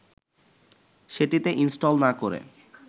সেটিতে ইনস্টল না করে